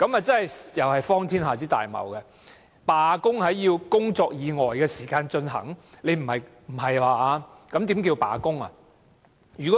這同樣是荒天下之大謬，罷工要在工作以外的時間進行，不是吧？